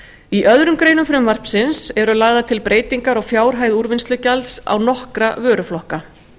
í öðrum greinum frumvarpsins eru lagðar til breytingar á fjárhæð úrvinnslugjalds á nokkra vöruflokka